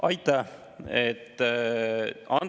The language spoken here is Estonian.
Aitäh!